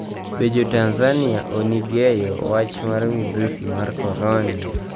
Be Jo-Tanizaniia onig'eyo wach mar midhusi mar koronia?